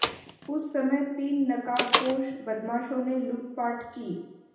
उस समय तीन नकाबपोश बदमाशों ने लूटपाट की